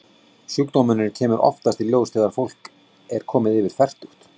Sjúkdómurinn kemur oftast í ljós þegar fólk er komið yfir fertugt.